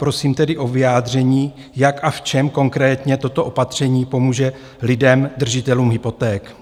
Prosím tedy o vyjádření, jak a v čem konkrétně toto opatření pomůže lidem, držitelům hypoték?